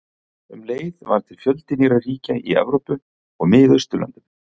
Um leið varð til fjöldi nýrra ríkja í Evrópu og Miðausturlöndum.